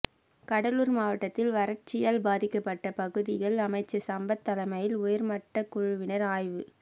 கடலூர் மாவட்டத்தில் வறட்சியால் பாதிக்கப்பட்ட பகுதிகள் அமைச்சர் சம்பத் தலைமையில் உயர்மட்ட குழுவினர் ஆய்வு